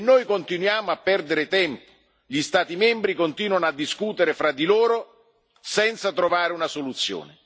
E noi continuiamo a perdere tempo, gli Stati membri continuano a discutere fra di loro senza trovare una soluzione.